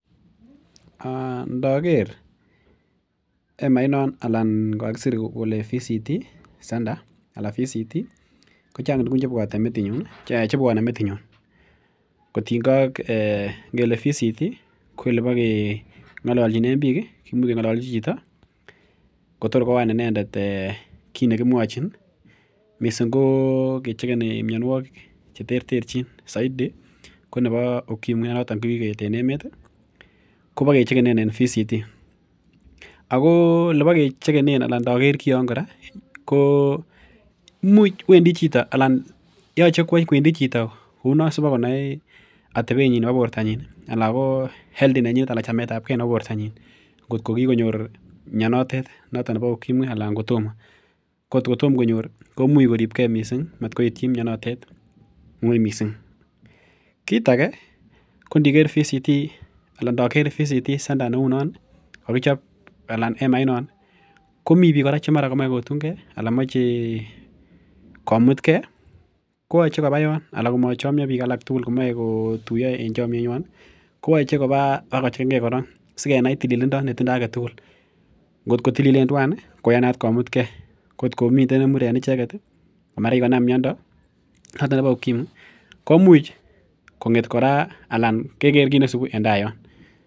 Ndoker emait non anan kakisir kole voluntary counseling and testing center anan voluntary counseling and testing ko chang tuguk chebwone metinyun kotiengei ak um ngele voluntary counseling and testing ko elebokeng'ololnjinen biik ih, kimuch keng'ololji chito kotor koyan inendet kit nekimwochin missing ko kechegeni mionwogik cheterterchin soiti ko nebo ukimwi noton ko kikoeet en kokwet ih kobokechegen en Voluntary Counseling and Testing ako elebokechegen anan ndoker kion kora ko imuch wendi chito anan yoche kwendi chito kounon sibakonai atebenyin nebo bortonyin anan ko health nenyinet anan chametabgee nebo bortonyin ngotko kikonyor mionotet noton nebo ukimwi anan kotomo ko ngotko tom konyor komuch koribegee missing matkoityi mionotet ng'oi missing. Kit age ko ndiker Voluntary Counseling and Testing anan ndoker Voluntary Counseling and Testing center neunon kokichop anan emaitnon komii biik kora che mara komoe kotungee anan komoche komutgee koyoche koba yon anan komochomyo biik alak tugul komoe kotuiyo en chomyetnywan ih koyoche koba bakochegengee kora sikenai tililindo netindoo aketugul ngotkotilolen twan ih koyanat komutgee ko ngotko miten nemur en icheket ih ko mara kikonam miondo noton nebo ukimwi komuch kong'et kora ana keker kit nesibu en taa yon.